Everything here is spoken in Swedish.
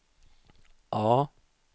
A